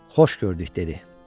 Xoş gördük, dedi.